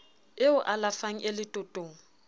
e o alafang e letotong